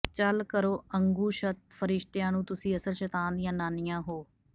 ਚਲ ਕਰੋ ਅੰਗੁਸ਼ਤ ਫਰਿਸ਼ਤਿਆਂ ਨੂੰ ਤੁਸੀਂ ਅਸਲ ਸ਼ੈਤਾਨ ਦੀਆਂ ਨਾਨੀਆਂ ਹੋ